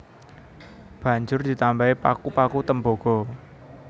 Banjur ditambahi paku paku tembaga